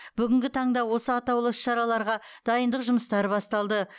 бүгінгі таңда осы атаулы іс шараларға дайындық жұмыстары басталды